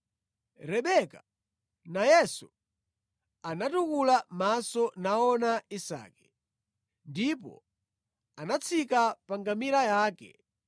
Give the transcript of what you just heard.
Rebeka nayenso anatukula maso naona Isake. Ndipo anatsika pa ngamira yake